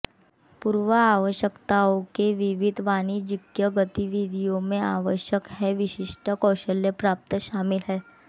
पूर्व आवश्यकताओं विहित कि वाणिज्यिक गतिविधियों में आवश्यक हैं विशिष्ट कौशल प्राप्त शामिल हैं